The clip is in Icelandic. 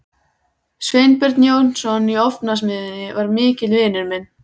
Sveinbjörn Jónsson í Ofnasmiðjunni var mikill vinur minn.